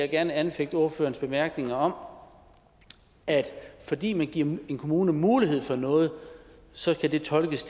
gerne anfægte ordførerens bemærkninger om at fordi man giver en kommune mulighed for noget så skal det tolkes